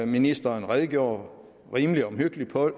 ministeren redegjorde rimelig omhyggeligt for